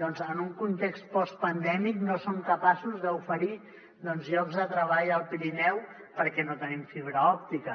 doncs en un context postpandèmic no som capaços d’oferir llocs de treball al pirineu perquè no tenim fibra òptica